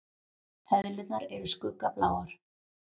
Eðlurnar eru skuggabláar.